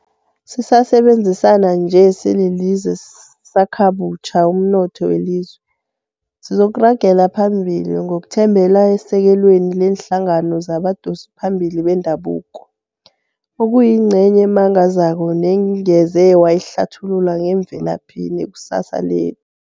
Sisasebenzisana nje sililizwe sisakhakabutjha umnotho welizwe, sizokuragela phambili ngokuthembela esekelweni leenhlangano zabadosiphambili bendabuko, ekuyingcenye emangazako nengeze wayihlathulula yemvelaphi nekusasa lethu.